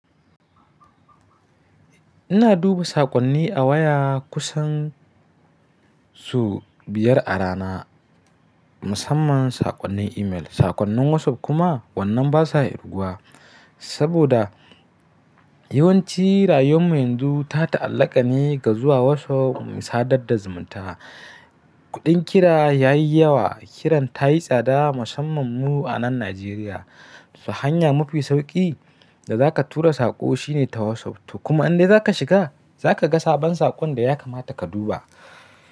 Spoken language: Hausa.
Ina duba saƙonni a waya kusan sau biyar a rana, musamman saƙonnin email. Saƙonnin WhatsApp kuma wannan ba sa kirguwa saboda yawanci rayuwar mu yanzu ta ta'allaka ne ga zuwa WhatsApp mu sadar da zumunta. Kuɗin kira ya yi yawa, kiran ta yi tsada musamman mu a nan Najeriya. To hanya mafi sauƙi da za ka tura saƙo shine ta WhatsApp. To kuma an dai za ka shiga, za ka ga sabon saƙon da ya kamata ka duba.